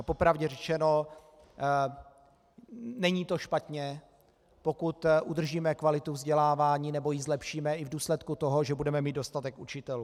Po pravdě řečeno, není to špatně, pokud udržíme kvalitu vzdělávání nebo ji zlepšíme i v důsledku toho, že budeme mít dostatek učitelů.